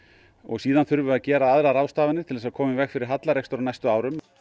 síðan þurfum við að gera aðrar ráðstafanir til að koma í veg fyrir hallarekstur á næstu árum